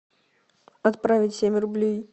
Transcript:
отправить семь рублей